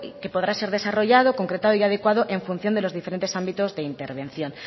que podrá ser desarrollado concretado y adecuado en función de los diferentes ámbitos de intervención